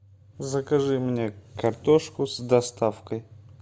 закажи мне картошку с доставкой